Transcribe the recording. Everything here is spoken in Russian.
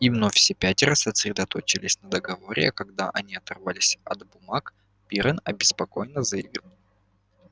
и вновь все пятеро сосредоточились на договоре а когда они оторвались от бумаг пиренн обеспокоенно заявил